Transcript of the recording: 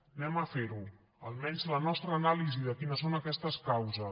anem a fer ho almenys la nostra anàlisi de quines són aquestes causes